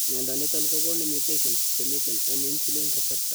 Mnyondo niton kogonu mutations chemiten en insulin receptor